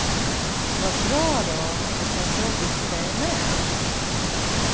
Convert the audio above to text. Vad bra då att det känns jobbigt för dig med.